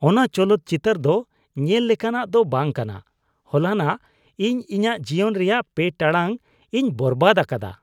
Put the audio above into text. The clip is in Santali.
ᱚᱱᱟ ᱪᱚᱞᱚᱛ ᱪᱤᱛᱟᱹᱨ ᱫᱚ ᱧᱮᱞ ᱞᱮᱠᱟᱱᱟᱜ ᱫᱚ ᱵᱟᱝ ᱠᱟᱱᱟ ᱾ ᱦᱚᱞᱟᱱᱚᱜ ᱤᱧ ᱤᱧᱟᱹᱜ ᱡᱤᱭᱚᱱ ᱨᱮᱱᱟᱜ ᱓ ᱴᱟᱲᱟᱝᱼᱤᱧ ᱵᱚᱨᱵᱟᱫ ᱟᱠᱟᱫᱟ ᱾